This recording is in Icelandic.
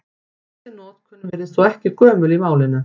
Þessi notkun virðist þó ekki gömul í málinu.